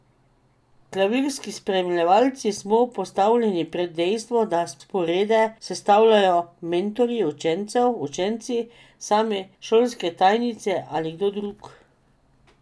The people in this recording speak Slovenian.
Klavirski spremljevalci smo postavljeni pred dejstvo, da sporede sestavljajo mentorji učencev, učenci sami, šolske tajnice ali kdo drug.